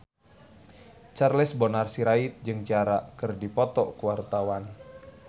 Charles Bonar Sirait jeung Ciara keur dipoto ku wartawan